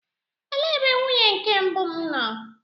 Elee ebe nwunye nke mbụ m nọ?